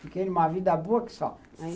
Fiquei numa vida boa que só.